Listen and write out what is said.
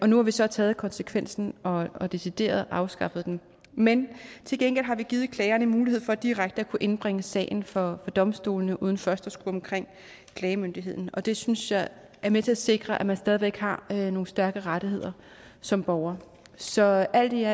nu har vi så taget konsekvensen og og decideret afskaffet den men til gengæld har vi givet klagerne en mulighed for direkte at kunne indbringe sagen for domstolene uden først at skulle omkring klagemyndigheden og det synes jeg er med til at sikre at man stadig væk har nogle stærke rettigheder som borger så alt